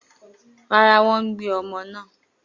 Rárá, wọn ò gbé ọmọ náà